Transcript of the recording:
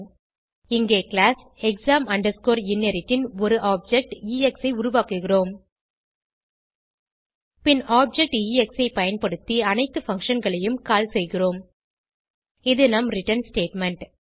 இங்கு class exam inherit ன் ஒரு ஆப்ஜெக்ட் எக்ஸ் ஐ உருவாக்குகிறோம் பின் ஆப்ஜெக்ட் எக்ஸ் ஐ பயன்படுத்தி அனைத்து பங்ஷன் களையும் கால் செய்கிறோம் இது நம் ரிட்டர்ன் ஸ்டேட்மெண்ட்